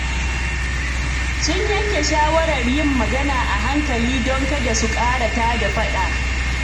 Sun yanke shawarar yin magana a hankali don kada su ƙara tada faɗa.